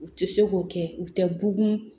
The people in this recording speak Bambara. U tɛ se k'o kɛ u tɛ bugun